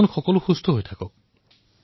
আপোনালোক সকলোৱেই সুস্থ হৈ থাকক